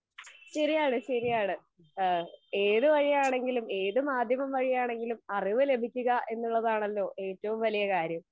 ശെരിയാണ് ശെരിയാണ് അഹ് ഏത് വഴിയാണെങ്കിലും ഏത് മാധ്യമം വഴിയാണങ്കിലും അറിവ് ലഭിക്കുക എന്നുള്ളതാണല്ലോ ഏറ്റവും വലിയ കാര്യം